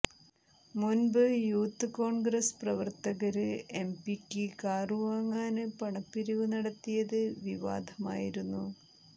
മുന്പ് യൂത്ത് കോണ്ഗ്രസ് പ്രവര്ത്തകര് എംപിക്ക് കാറുവാങ്ങാന് പണപ്പിരിവ് നടത്തിയത് വിവാദമായിരുന്നു